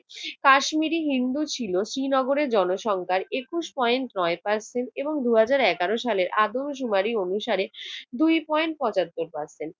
কাশ্মীরি হিন্দু ছিল শ্রীনগরে জনসংখ্যার একুশ point নয় percent এবং দু হাজার এগারো সালে আদমশুমারি অনুসারে দুই point পঁচাত্তর percent